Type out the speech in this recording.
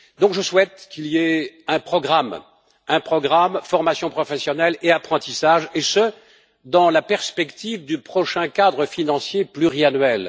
Je souhaite donc qu'il y ait un programme de formation professionnelle et d'apprentissage et ce, dans la perspective du prochain cadre financier pluriannuel.